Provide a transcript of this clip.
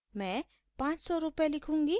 मैं 500 रूपए लिखूँगी